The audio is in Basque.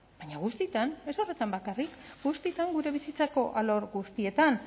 baina guztietan ez horretan bakarrik guztietan gure bizitzako alor guztietan